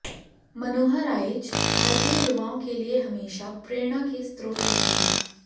मनोहर आइच भारतीय युवाओं के लिए हमेशा प्रेणा के स्रोत रहेंगे